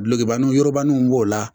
Bilekibaru wobanni b'o la